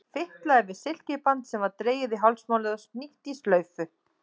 Fitlaði við silkiband sem var dregið í hálsmálið og hnýtt í slaufu.